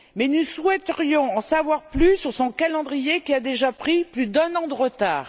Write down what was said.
Nous souhaiterions cependant en savoir plus sur son calendrier qui a déjà pris plus d'un an de retard.